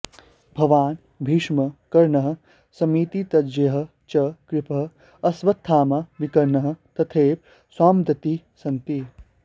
भवान् भीष्मः कर्णः समितिञ्जयः च कृपः अश्वत्थामा विकर्णः तथैव सौमदत्तिः सन्ति